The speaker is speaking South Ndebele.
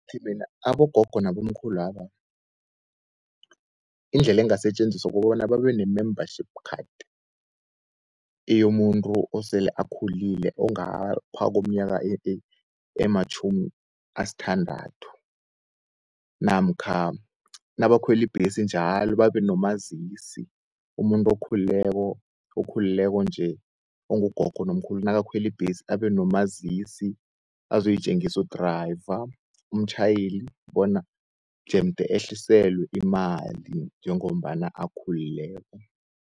Ngithi mina abogogo nabomkhulu laba, indlela engasetjenziswa kukobana babe ne-membership-card, eyomuntu osele akhulile ongapha komnyaka ematjhumi asthandathu, namkha nabakhweli ibhesi njalo babenomazisi. Umuntu okhulileko nje ongugogo, nomkhulu nabakhweli ibhesi abenomazisi azoyitjengisu udriver, umtjhayeli bona jemde ehliselwe imali njengombana akhulileko.